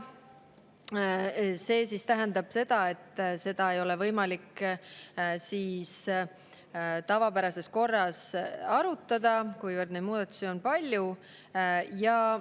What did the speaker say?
See tähendab seda, et eelnõu ei ole võimalik tavapärases korras arutada, kuivõrd neid muudatusi on palju.